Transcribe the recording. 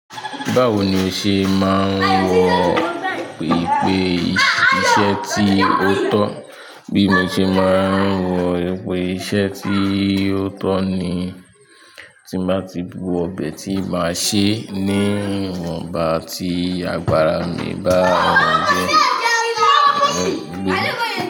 Báwo ni o ṣe máa ń wọ ipe iṣẹ́ ti o tọ́? Bí mo ṣe máa ń wọ ìpe iṣẹ́ tí o tọ ní, tí mo bá ti wo ibẹ̀ tí máa sè ní ìwọ̀nba ti àgbàrá mi bá wọ inú ilé.